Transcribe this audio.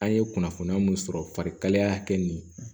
An ye kunnafoniya mun sɔrɔ farikalaya hakɛ nin